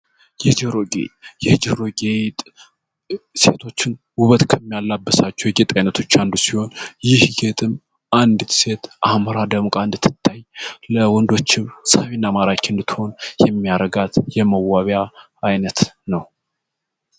የጆሮ ጌጥ የጆሮ ጌጥ ሴቶችን ውበት ከሚያለብሳቸው የጌጥ አይነት አንዱ ሲሆን ይህ ጌጥ አንዲት ሴት አምራ ደም ቀን እንድትታይ ለወንዶችም ሳቢና ማራኪ ሆና እንድትታይ የሚያደርጋት የመዋቢያ አይነት ነው።